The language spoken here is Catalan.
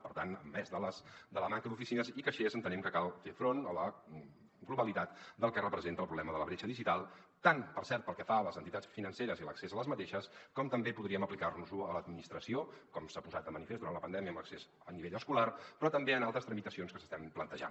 per tant a més de la manca d’oficines i caixers entenem que cal fer front a la globalitat del que representa el problema de la bretxa digital tant per cert pel que fa a les entitats financeres i l’accés a aquestes com també podríem aplicar·nos·ho a l’administració com s’ha posat de manifest durant la pandèmia amb l’accés a nivell escolar però també en altres tramitacions que s’estan plantejant